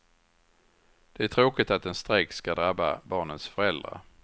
Det är tråkigt att en strejk ska drabba barnens föräldrar.